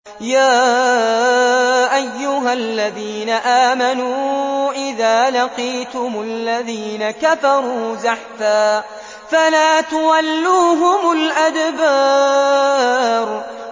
يَا أَيُّهَا الَّذِينَ آمَنُوا إِذَا لَقِيتُمُ الَّذِينَ كَفَرُوا زَحْفًا فَلَا تُوَلُّوهُمُ الْأَدْبَارَ